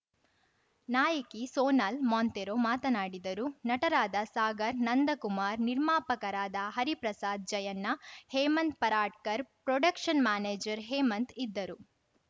ನಾಯಕಿ ಸೋನಲ್ ಮೊಂತೇರೊ ಮಾತನಾಡಿದರು ನಟರಾದ ಸಾಗರ್‌ ನಂದಕುಮಾರ್‌ ನಿರ್ಮಾಪಕರಾದ ಹರಿಪ್ರಸಾದ್‌ ಜಯಣ್ಣ ಹೇಮಂತ್‌ ಪರಾಡ್ಕರ್‌ ಪ್ರೊಡಕ್ಷನ್‌ ಮ್ಯಾನೇಜರ್‌ ಹೇಮಂತ್‌ ಇದ್ದರು